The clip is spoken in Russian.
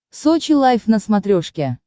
сочи лайв на смотрешке